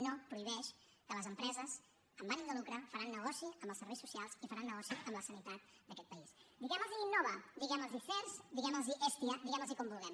no prohibeix que les empreses amb ànim de lucre faran negoci amb els serveis socials i faran negoci amb la sanitat d’aquest país diguemlos innova diguemlos sehrs diguemlos hestia diguemlos com vulguem